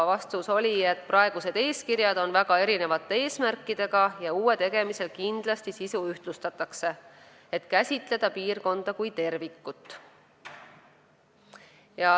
Vastus oli, et praegused eeskirjad on väga erinevate eesmärkidega ja uue tegemisel sisu kindlasti ühtlustatakse, et käsitleda piirkonda kui tervikut.